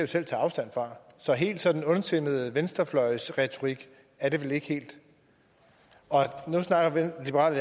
selv taget afstand fra så helt sådan ondsindet venstrefløjens retorik er det vel ikke nu snakker liberal